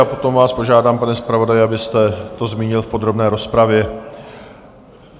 A potom vás požádám, pane zpravodaji, abyste to zmínil v podrobné rozpravě.